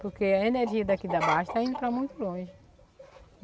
Porque a energia daqui da Baixa está indo para muito longe.